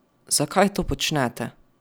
Zakaj to počnete?